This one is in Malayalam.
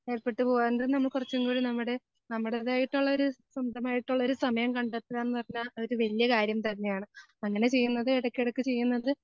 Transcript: ഏർപ്പെട്ട് പോക നമുക്ക് കുറച്ചും കൂടി നമ്മുടെ നമ്മുടേതായിട്ടുള്ളള്ള ഒരു സ്വന്തമായിട്ടുള്ളൊരു സമയം കണ്ടെത്തുക എന്ന് പറഞ്ഞാ അതൊരു വലിയ കാര്യം തന്നെയാണ്. അങ്ങനെ ചെയ്യുന്നത് ഇടയ്ക്കിടയ്ക്ക് ചെയ്യുന്നത്